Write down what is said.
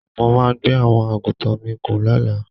Mo máa gbé àwọn àgùntàn mi gùn lọ́la